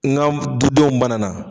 N ga dudenw banana